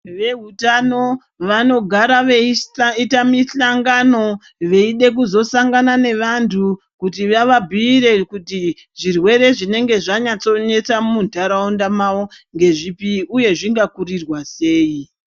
Vehutano vanogara veiita misangano veida kuzosangana nevantu kuti vavabhiire kuti zvirwere zvinenge zvanyatsa kunetsa munharaunda mwavo ngezvipi uye zvingakurirwa sei.